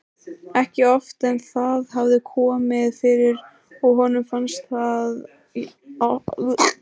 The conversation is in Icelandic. Ekki oft en það hafði komið fyrir og honum fannst það alltaf jafn merkilegt.